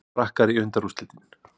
Frakkar í undanúrslitin